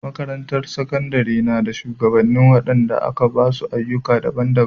Makarantar Sakandare ta nada shugabanni wadanda aka ba su ayyuka daban-daban.